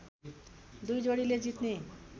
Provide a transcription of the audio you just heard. दुबै जोडीले जित्ने